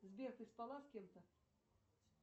сбер ты спала с кем то